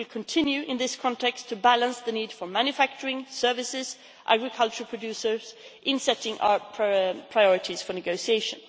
We will continue, in this context, to balance the needs of manufacturing, services and agricultural producers in setting our priorities for negotiation.